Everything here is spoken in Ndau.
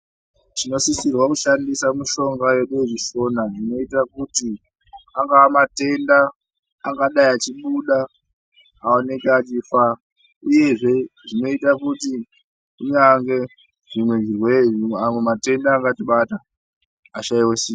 Tinosisirwa kushandisa mushonga yedu yechishona zvinoita kuti angava matenda angadai achibuda aoneke achifa uyezve zvinoita kuti kunyange zvimwe zvirwere, amwe matenda angatibata ashaiwe simba.